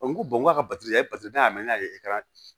n ko k'a ka batiri n'a y'a mɛn n'a ye